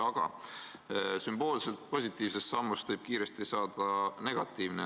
Aga sümboolselt positiivsest sammust võib kiiresti saada negatiivne.